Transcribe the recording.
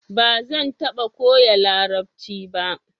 Ba zan taba koya larabci ba